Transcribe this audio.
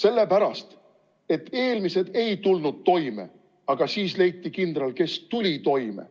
Eelmised ei tulnud toime, aga siis leiti kindral, kes tuli toime.